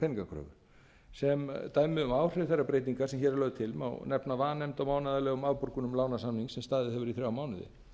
peningakröfu sem dæmi um áhrif þeirrar breytingar sem hér er lögð til má nefna vanefnd á mánaðarlegum afborgunum lánasamnings sem staðið hefur í þrjá mánuði